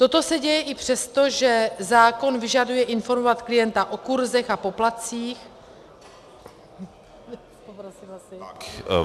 Toto se děje i přesto, že zákon vyžaduje informovat klienta o kurzech a poplatcích...